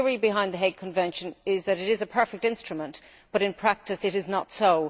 The theory behind the Hague Convention is that it is a perfect instrument, but in practice it is not so.